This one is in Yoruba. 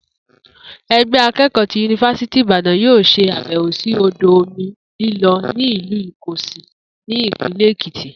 E̩gbé̩ aké̩kò̩ó̩ ti Yunifásítì Ìbàdàn yóò s̩e àbè̩wò sí odò omi líló̩ ní ìlú Ìko̩gòsì ní Ìpínlè̩ Èkìtì